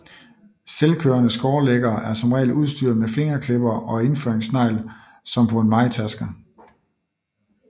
Selvkørende skårlæggere er som regel udstyret med fingerklippere og indføringssnegl som på en mejetærsker